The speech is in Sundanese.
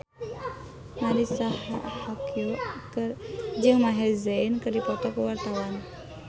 Marisa Haque jeung Maher Zein keur dipoto ku wartawan